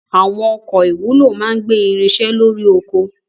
Àwọn ọkọ̀ ìwúlò máa ń gbé irinṣẹ́ lórí oko.